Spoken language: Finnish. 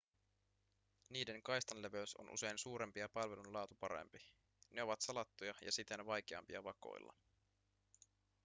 niiden kaistanleveys on usein suurempi ja palvelun laatu parempi ne ovat salattuja ja siten vaikeampia vakoilla